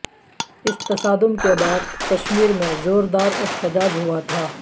اس تصادم کے بعد کشمیر میں زور دار احتجاج ہوا تھا